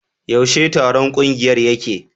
Yaushe taron kungiyar yake?